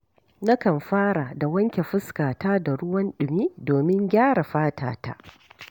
Nakan fara da wanke fuskata da ruwan ɗumi domin gyara fatata.